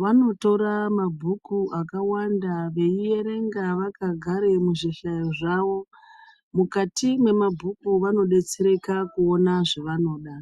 vanotora mabhuku akawanda veierenga vakagara muzvihlayo zvavo mukati memabhuku vanodetsereka kuona zvevanoda.